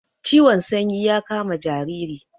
Ciwon sanyi ya kama jariri